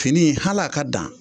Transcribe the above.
Fini hal'a ka dan